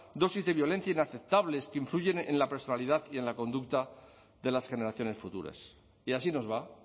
dosis de violencia inaceptable es que influyen en la personalidad y en la conducta de las generaciones futuras y así nos va